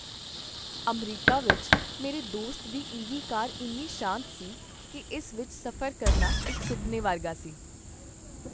America ਵਿੱਚ ਮੇਰੇ ਦੋਸਤ ਦੀ ਈਵੀ ਕਾਰ ਇੰਨੀ ਸ਼ਾਂਤ ਸੀ ਕੀ ਇਸ ਵਿੱਚ ਸਫ਼ਰ ਕਰਨਾ ਇੱਕ ਸੁਪਨੇ ਵਰਗਾ ਸੀ।